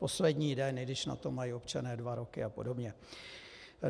Poslední den, i když na to mají občané dva roky a podobně.